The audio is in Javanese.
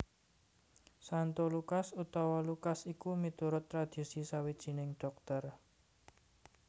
Santo Lukas utawa Lukas iku miturut tradhisi sawijining dhokter